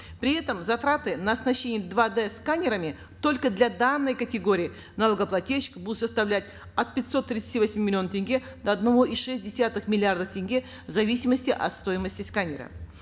при этом затраты на оснащение два д сканерами только для данной категории налогоплательщиков будут составлять от пятисот тридцати восьми миллионов тенге до одного и шесть десятых миллиарда тенге в зависимости от стоимости сканера